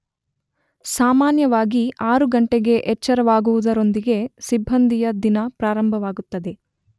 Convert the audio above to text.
ಸಾಮಾನ್ಯವಾಗಿ 6 ಗಂಟೆಗೆ ಎಚ್ಚರವಾಗುವುದರೊಂದಿಗೆ ಸಿಬ್ಬಂದಿಯ ದಿನ ಪ್ರಾರಂಭವಾಗುತ್ತದೆ.